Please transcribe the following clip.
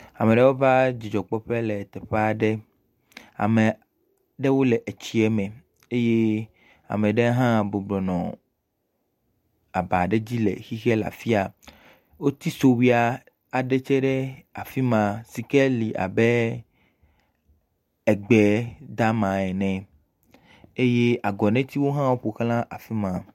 Ame aɖewo va dzidzɔkpɔƒe le teƒe aɖe. Ame aɖewo le etsieme. Eye ame aɖe hã bɔbɔ nɔ aba aɖe dzi le xexe le afia. Woti sowuia aɖe tsɛ ɖe afi ma si ke li abe egbe dama ene. Eye agɔnɛtiwo hã woƒo ʋla afi ma.